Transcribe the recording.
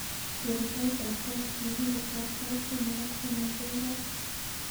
Ker taitab kot nekirusot sait somok ak sosom kemboi.